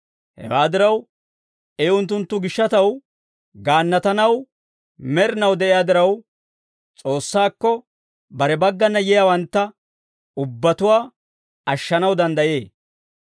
Hewaa diraw, I unttunttu gishshataw gaannatanaw med'inaw de'iyaa diraw, S'oossaakko bare baggana yiyaawantta ubbatuwaa ashshanaw danddayee.